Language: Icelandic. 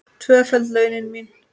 Tvöföld launin mín.